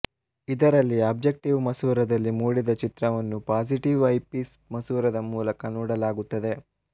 ಇದರಲ್ಲಿ ಆಬ್ಜೆಕ್ಟಿವ್ ಮಸೂರದಲ್ಲಿ ಮೂಡಿದ ಚಿತ್ರವನ್ನು ಪಾಸಿಟಿವ್ ಐಪೀಸ್ ಮಸೂರದ ಮೂಲಕ ನೋಡಲಾಗುತ್ತದೆ